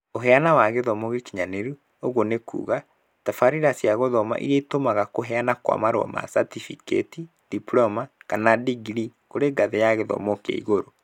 ũheana wa gĩthomo gĩkinyanĩru, ũguo nĩ kuuga, tabarĩra cia gũthoma irĩa itũmaga kũheana kwa marũa ma catĩbĩkĩti diploma, kana digirii kũrĩ ngathĩ ya gĩthomo kĩa igũrũ.